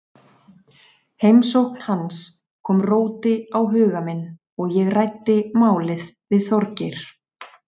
Heimsókn hans kom róti á huga minn og ég ræddi málið við Þorgeir.